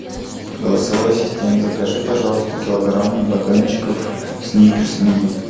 голосовой ассистент закажи пожалуйста килограмм батончиков сникерс мини